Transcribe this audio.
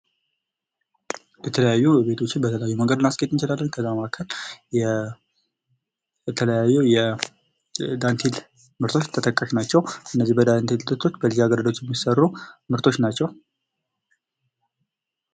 በተለያዩ ቤቶችን በተለያየ መንገድ ማስጌጥ እንችላለን ከዚያ ለማዕከል የተለያዩ የ የዳንቴል ምርቶች ተጠቃሽ ናቸው:: እነዚህ በዳንቴል ምርቶች ለዚህ አገልግሎት የሚሰሩ ምርቶች ናቸው::